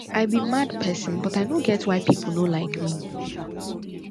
i be mad person but i no get why people no like me